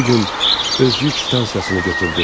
O bu gün öz yük stansiyasını götürdü.